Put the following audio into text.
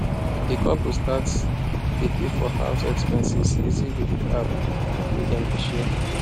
the couple start dey pay for house expenses easy with the app wey dem dey share